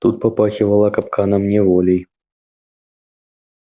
тут попахивало капканом неволей